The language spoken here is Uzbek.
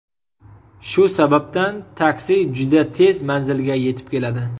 Shu sababdan taksi juda tez manzilga yetib keladi.